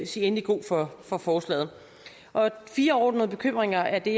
sige endeligt god for for forslaget og fire overordnede bekymringer er det